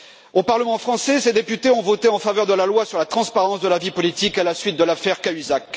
Au Parlement français, les députés ont voté en faveur de la loi sur la transparence de la vie politique à la suite de l'affaire Cahuzac.